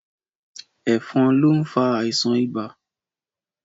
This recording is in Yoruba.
Ẹ̀fọn lo nfa àìsàn ibà